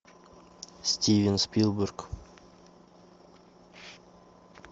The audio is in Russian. стивен спилберг